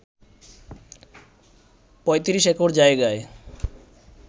৩৫ acre জায়গায়